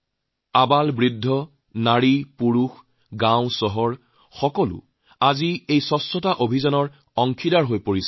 আবাল বৃদ্ধ পুৰুষমহিলা চহৰগাওঁ প্ৰত্যেকেই আজি স্বচ্ছতা অভিযানৰ এক অংশ হৈ উঠিছে